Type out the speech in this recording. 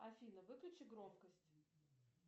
афина выключи громкость